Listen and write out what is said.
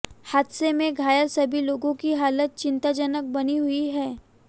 हादसे में घायल सभी लोगों की हालत चिंताजनक बनी हुई है